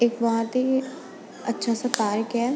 एक बहुत ही अच्छा सा कार्य किया है।